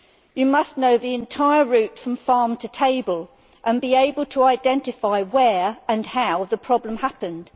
You must know the entire route from farm to table and be able to identify where and how the problem happened.